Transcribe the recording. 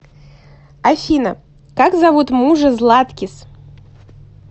афина как зовут мужа златкис